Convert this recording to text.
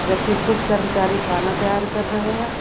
कुछ कर्मचारी खाना तैयार कर रहे हैं।